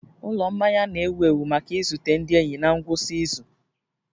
Ụlọ mmanya na-ewu ewu maka izute ndị enyi na ngwụsị izu